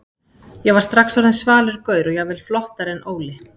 Ég var strax orðinn svalur gaur og jafnvel flottari en Óli.